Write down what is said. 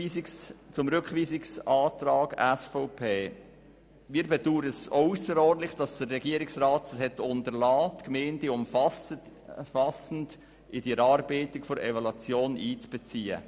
Zum Rückweisungsantrag der SVP: Wir bedauern auch ausserordentlich, dass es der Regierungsrat unterlassen hat, die Gemeinden umfassend in die Erarbeitung der Evaluation einzubeziehen.